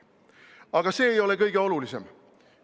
Aga see ei ole kõige olulisem.